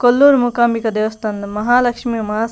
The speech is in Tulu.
ಕೊಲ್ಲೂರು ಮೂಕಾಂಬಿಕ ದೇವಸ್ಥಾನದ ಮಹಾಲಕ್ಷ್ಮಿ ಮಹ.